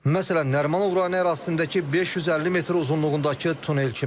Məsələn, Nərimanov rayonu ərazisindəki 550 metr uzunluğundakı tunel kimi.